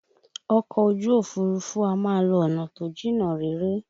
Ọkọ ojú Òfurufú a máa lọ ọ̀nà tó jìnnà réré